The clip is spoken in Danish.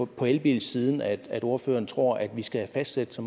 på elbilsiden at ordføreren tror vi skal fastsætte